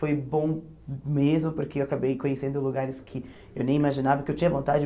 Foi bom mesmo, porque eu acabei conhecendo lugares que eu nem imaginava, que eu tinha vontade.